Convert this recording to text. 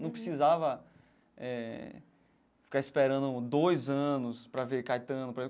Não precisava eh ficar esperando dois anos para ver Caetano.